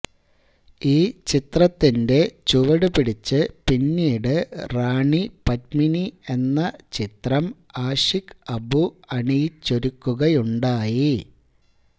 ഈ ചിത്രത്തിന്റെ ചുവട് പിടിച്ച് പിന്നീട് റാണി പദ്മിനി എന്ന ചിത്രം ആഷിഖ് അബു അണിയിച്ചൊരുക്കുകയുണ്ടായി